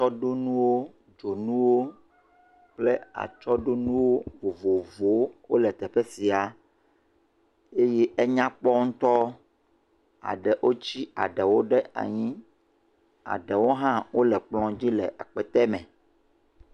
Atsɔɖonuwo, dzonuwo kple atsɔɖonuwo vovovowo wole teƒe sia eye enyakpɔ ŋutɔ. Eɖewo wotsi eɖewo ɖe anyi, eɖewo hã wole kplɔ dzi le akpete me.